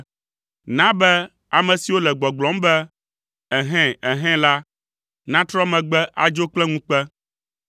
Na be ame siwo le gbɔgblɔm be, “Ɛhɛ̃! Ɛhɛ̃!” la natrɔ megbe adzo kple ŋukpe.